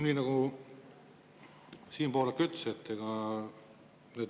Nii nagu Siim Pohlak ütles, ega numbrid.